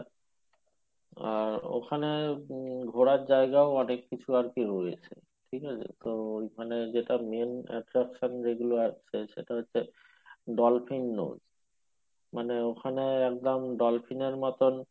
আর ওখানে ঘোরার জায়গা ও অনেক কিছু আরকি রয়েছে ঠিক আছে তো ঐখানে যেটা main attraction যেগুলো আছে সেটা হচ্ছে ডলফিন মানে ওখানে একদম ডলফিনের মতন